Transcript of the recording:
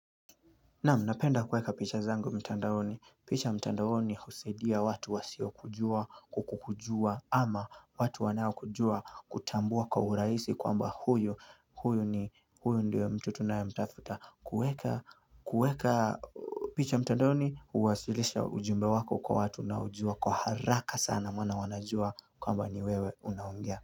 Naam, napenda kuweka picha zangu mtandaoni. Picha mtandaoni husaidia watu wasio kujua kukujua ama watu wanao kujua kutambua kwa urahisi kwamba huyu ndio mtu tunayemtafuta. Kuweka picha mtandaoni huwasilisha ujumbe wako kwa watu unaojua kwa haraka sana maana wanajua kwamba ni wewe unaongea.